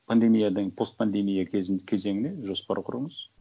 пандемиядан постпандемия кезеңіне жоспар құрыңыз